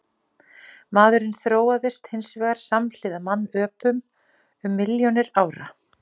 Maðurinn þróaðist hins vegar samhliða mannöpum um milljónir ára.